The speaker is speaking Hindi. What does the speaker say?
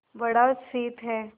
बड़ा शीत है